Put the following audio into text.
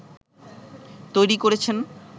তৈরি করেছেন